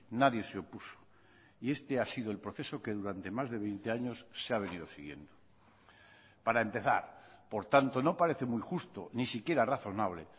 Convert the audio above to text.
nadie se opuso y este ha sido el proceso que durante más de veinte años se ha venido siguiendo para empezar por tanto no parece muy justo ni siquiera razonable